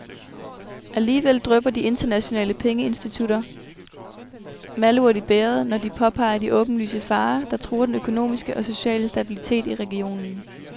Alligevel drypper de internationale pengeinstitutioner malurt i bægeret, når de påpeger de åbenlyse farer, der truer den økonomiske og sociale stabilitet i regionen.